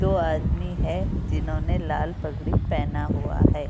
दो आदमी है जिन्होंने लाल पगड़ी पहना हुआ हैं।